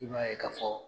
I b'a ye ka fɔ